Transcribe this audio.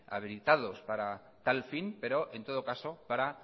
habilitados para tal fin pero en todo caso para